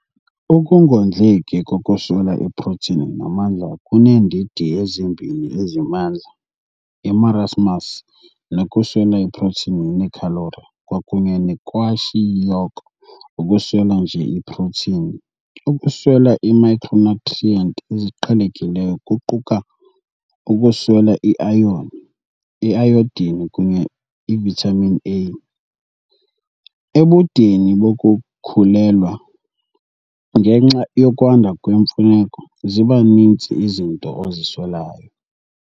Ukungondleki kokuswela iprotini namandla kuneendidi ezimbini ezimandla, imarasmus nokuswela iprotini neekhalori kwakunye nekwashiyoko ukuswela nje iprotini. Ukuswela iimicronutrient eziqhelekileyo kuquka, ukuswela iayon, iayodin kunye ivitamin A. Ebudeni bokukhulelwa, ngenxa yokwanda kwemfuneko, ziba ninzi izinto oziswelayo.